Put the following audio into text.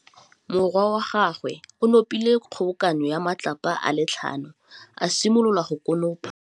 Morwa wa gagwe o nopile kgobokanô ya matlapa a le tlhano, a simolola go konopa.